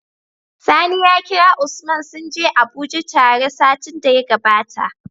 Sani ya kira usman sunje abuje tare satin da ya gabata